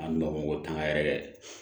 An n'o ko tanga yɛrɛ